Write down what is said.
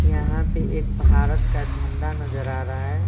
यहाँ पे एक भारत का झंडा नजर आ रहा है।